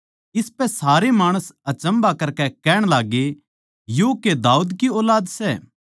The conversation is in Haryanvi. इसपै सारे माणस अचम्भा करकै कहण लाग्गे यो के दाऊद की ऊलाद सै